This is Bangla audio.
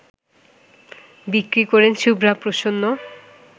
বিক্রি করেন শুভা প্রসন্ন